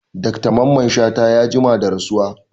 Dr mamman shata ya jima da rasuwa